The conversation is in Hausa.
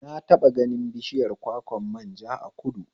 Na taɓa ganin bishiyar kwakwan manja a kudu